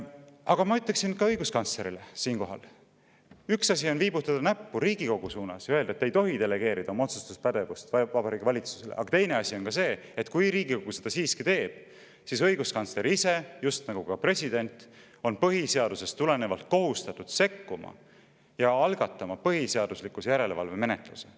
Aga ma ütleksin ka õiguskantslerile siinkohal: üks asi on viibutada näppu Riigikogu suunas ja öelda, et me ei tohi delegeerida oma otsustuspädevust Vabariigi Valitsusele, aga teine asi on see, et kui Riigikogu seda siiski teeb, siis õiguskantsler ise, just nagu ka president, on põhiseadusest tulenevalt kohustatud sekkuma ja algatama põhiseaduslikkuse järelevalve menetluse.